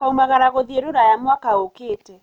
Tũkauamagara gũthiĩ rũraya mwaka ũkĩte